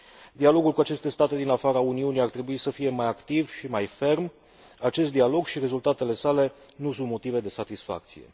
Dialogul cu aceste state din afara Uniunii ar trebui să fie mai activ și mai ferm, acest dialog și rezultatele sale nu sunt motive de satisfacție.